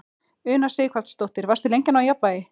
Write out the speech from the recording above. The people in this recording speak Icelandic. Una Sighvatsdóttir: Varstu lengi að ná jafnvægi?